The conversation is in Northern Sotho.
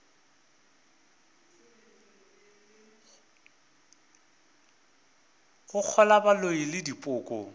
go kgolwa boloi le dipoko